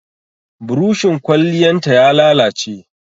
Burushin Kwalliyan ta ya lalace.